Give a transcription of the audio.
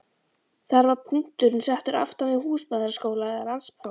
Þar var punkturinn settur aftan við húsmæðraskóla eða landspróf.